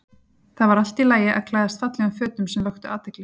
Það var allt í lagi að klæðast fallegum fötum sem vöktu athygli.